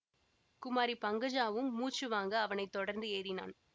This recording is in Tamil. குமாரி பங்கஜாவும் மூச்சு வாங்க அவனை தொடர்ந்து ஏறினான்